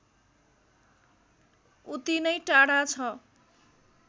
उति नै टाढा छ